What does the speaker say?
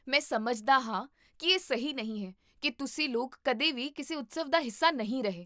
ਮੈਂ ਸਮਝਦਾ ਹਾਂ ਕੀ ਇਹ ਸਹੀ ਨਹੀਂ ਹੈ ਕੀ ਤੁਸੀਂ ਲੋਕ ਕਦੇ ਵੀ ਕਿਸੇ ਉਤਸਵ ਦਾ ਹਿੱਸਾ ਨਹੀਂ ਰਹੇ